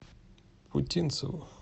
путинцеву